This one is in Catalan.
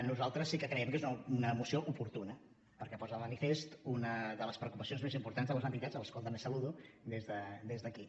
nosaltres sí que creiem que és una moció oportuna perquè posa de manifest una de les preocupacions més importants de les entitats que també saludo des d’aquí